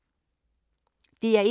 DR1